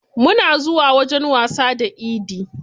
Muna zuwa wajen wasa da idi.